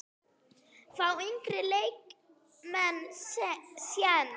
Fá yngri leikmenn séns?